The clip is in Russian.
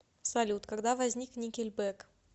салют когда возник никельбек